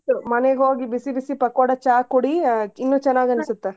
ಆಯಿತು ಮನೆಗೆ ಹೋಗಿ ಬಿಸಿ ಬಿಸಿ ಪಕೋಡಾ ಚಾ ಕುಡಿ ಇನ್ನು ಚೆನ್ನಾಗಿ ಅನಿಸುತೆ.